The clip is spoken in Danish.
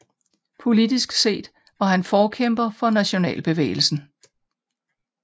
Politisk set var han forkæmper for nationalbevægelsen